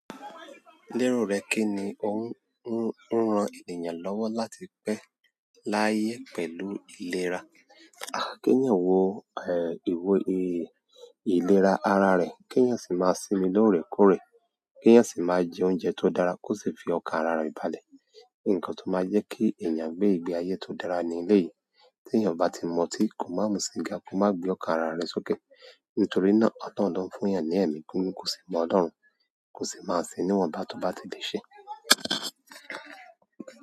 Lérò rẹ kí ni ò ń rán ènìyàn lọ́wọ́ láti pẹ́ láyé pẹ̀lú ìlera? Kéyan wò, ìlera ara rẹ̀. Káyan sì máa sinmi lóòrèkóòrè keyan sì máa jẹ oúnjẹ tó dára, kó sì fi ọkàn ara rẹ̀ balẹ̀. Ǹkan tó máa jẹ́ kí ènìyàn gbé ìgbé ayé tó dára ní eleyìí. Tí ènìyàn bá ti mu otí kò máa mú síga, kò máa gbé ọkàn ara rẹ̀ sókè. Nítorí náà, ọ̀lohun loń fún eeyàn ní ẹ̀mí gígùn ko sì máa mọ Ọlọ́run, kò sì máa fúnni iwọnbá tó bá ti di ṣe.